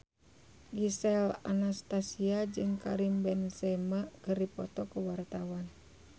Gisel Anastasia jeung Karim Benzema keur dipoto ku wartawan